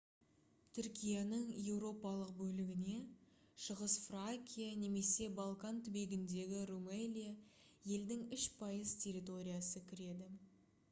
түркияның еуропалық бөлігіне шығыс фракия немесе балкан түбегіндегі румелия елдің 3% территориясы кіреді